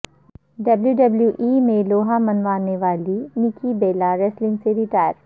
W W E میں لوہا منوانے والی نکی بیلا ریسلنگ سے ریٹائر